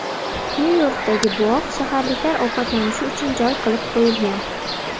Nyu-Yorkdagi bog‘, shaharliklar ovqatlanishi uchun joy qilib qo‘yilgan.